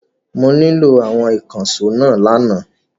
Mo nílò àwọn ìkànṣó náà lánàá.